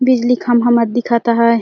बिजली खम्भा मन दिखत है।